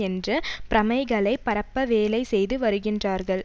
என்ற பிரமைகளைப் பரப்ப வேலை செய்து வருகின்றார்கள்